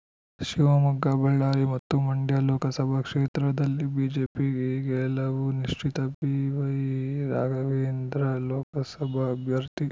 ಶಿವಮೊಗ್ಗ ಬಳ್ಳಾರಿ ಮತ್ತು ಮಂಡ್ಯ ಲೋಕಸಭಾ ಕ್ಷೇತ್ರದಲ್ಲಿ ಬಿಜೆಪಿ ಗೆಲವು ನಿಶ್ಚಿತ ಬಿವೈರಾಘವೇಂದ್ರ ಲೋಕಸಭ ಅಭ್ಯರ್ಥಿ